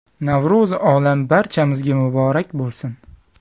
Navro‘zi olam barchamizga muborak bo‘lsin!